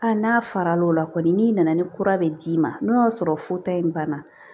A n'a fara l'o la kɔni n'i nana ni kura bɛ d'i ma n'o y'a sɔrɔ fo ta in banna